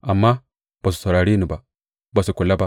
Amma ba su saurare ni ba, ba su kula ba.